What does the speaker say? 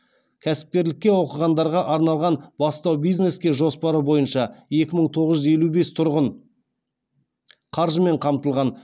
кәсіпкерлікке оқығандарға арналған бастау бизнеске жоспары бойынша екі мың тоғыз жүз елу бес тұрғын қаржымен қамтылған